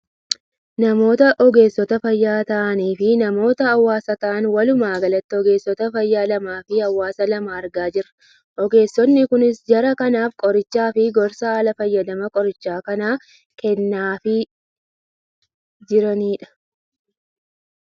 Namoota ogeessota fayyaa ta'anii fi namoota hawaasa ta'an waluumaa galatti ogeessoota fayyaa lamaafi hawaasa lama argaa jirra. Ogeessonni kunis jara kanaaf qorichaa fi gorsa haala fayyadama qorichaa kana gennaafii jiranidha.